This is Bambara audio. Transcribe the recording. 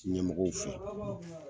Ɲɛmɔgɔw fɛ.